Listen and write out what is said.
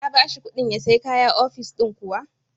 Ka ba shi kuɗin ya sai kaya ofis din kuwa?